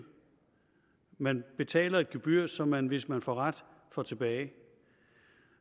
man betaler et gebyr som man hvis man får ret får tilbage